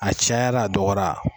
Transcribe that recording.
A cayara a dɔgɔyara